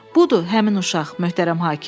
Budur həmin uşaq, möhtərəm hakim.